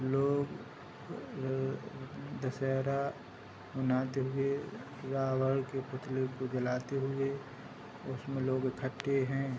लोग अ दशहरा मनाते हुए रावण के पुतले को जलाते हुए उसमें लोग इकट्ठे हैं।